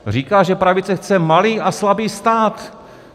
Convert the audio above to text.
Říká, že pravice chce malý a slabý stát.